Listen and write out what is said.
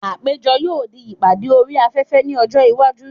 Àpéjọ yóò di ìpàdé orí afẹ́fẹ́ ní ọjọ́ iwájú.